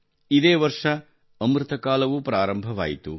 ಇದೇ ವರ್ಷ ಅಮೃತ ಕಾಲವೂ ಪ್ರಾರಂಭವಾಯಿತು